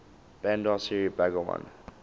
bandar seri begawan